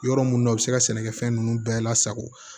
Yɔrɔ minnu na u bɛ se ka sɛnɛkɛfɛn ninnu bɛɛ lasago